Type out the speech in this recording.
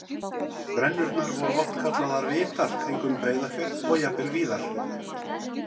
Brennurnar voru oft kallaðar vitar kringum Breiðafjörð og jafnvel víðar.